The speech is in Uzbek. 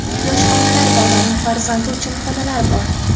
Yosh onalar va ularning farzandi uchun xonalar bor.